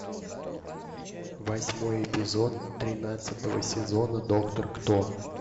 восьмой эпизод тринадцатого сезона доктор кто